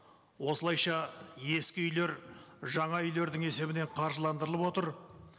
осылайша ескі үйлер жаңа үйлердің есебінен қаржыландырылып отыр